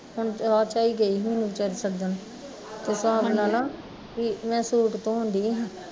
ਹੁਣ ਚਾਅ ਚਾਅ ਈ ਗਈ ਵੀ ਚੱਲ ਜਣ, ਤੂੰ ਹਿਸਾਬ ਲਾਲਾ ਮੈਂ ਸੂਟ ਧੋਣ ਡਈ ਸੀ